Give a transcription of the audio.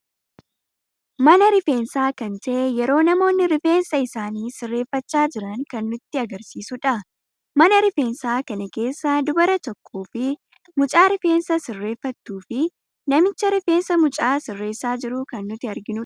Mana rifeensa kan ta'e yeroi namoonni rifeensa isaani sirreeffacha jiran kan nutti agarsiisuudha. Mana rifeensa kana keessa dubara tokko fi mucaa rifeensa sirreeffatu fi namicha rifeensa mucaa sirreessa jiru kan nuti arginudha.